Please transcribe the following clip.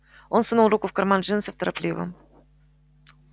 он сунул руку в карман джинсов торопливо